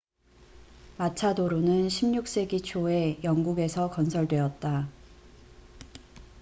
마차도로는 16세기 초에 영국에서 건설되었다